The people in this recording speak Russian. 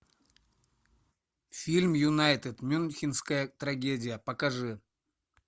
фильм юнайтед мюнхенская трагедия покажи